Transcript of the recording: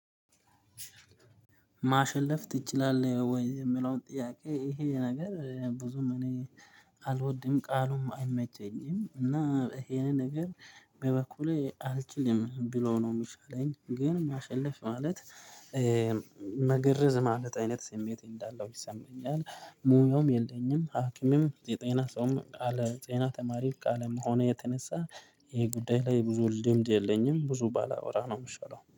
ማሸነፍ ትችላለህ ወይ? የሚለውን ጥያቄ ይሄ ነገር ብዙም እኔ አልወድም ቃሉም አይመቸኝም። እና ይሄንን ነገር በበኩሌ አልችልም ብሎ ነው የሚሻለኝ። ግን ማሸለፍ ማለት መገርዝ ማለት አይነት ስሜት እንዳለው ይሰማኛል። ሙያውም የለኝም ሀኪምም የጤና ሰውም ቃለ ጤና ተማሪው ቃለ መሆኑ የተነሳ ይሄ ጉዳይ ላይ ብዙ ልምድ የለኝም ብዙ ባለወራ ነው የምሸለው